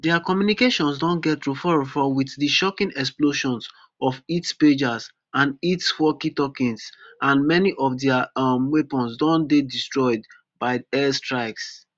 dia communications don get roforrofor wit di shocking explosions of its pagers and walkietalkies and many of dia um weapons don dey destroyed by air strikes